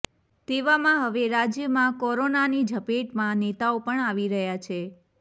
તેવામાં હવે રાજ્યમાં કોરોનાની ઝપેટમાં નેતાઓ પણ આવી રહ્યા છે